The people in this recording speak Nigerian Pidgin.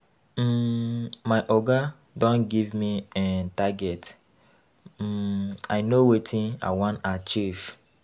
um My oga don give me um target, um I know wetin I wan achieve.